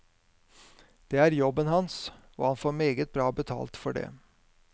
Det er jobben hans, og han får meget bra betalt for det.